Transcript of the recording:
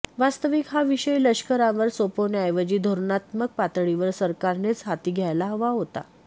वास्तविक हा विषय लष्करावर सोपवण्याऐवजी धोरणात्मक पातळीवर सरकारनेच हाती घ्यायला हवा होता